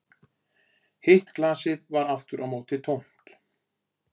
Hitt glasið var aftur á móti tómt